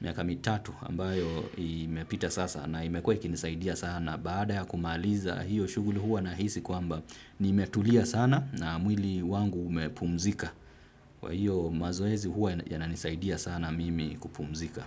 miaka mitatu ambayo imepita sasa na imekua ikinisaidia sana baada ya kumaliza hiyo shuguli huwa na hisi kwamba nimetulia sana na mwili wangu umepumzika. Kwa hiyo mazoezi huwa yananisaidia sana mimi kupumzika.